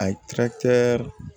A ye